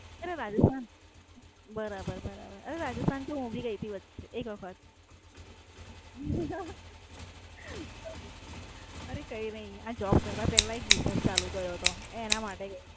અરે રાજ. બરાબર બરાબર. અરે રાજસ્થાન તો હું પણ ગઈ તી વચ્ચે એક વખત અરે કઈ ની આ જોબ કરવા Like business ચાલુ કર્યો તો એનામાટે ગઈ તી.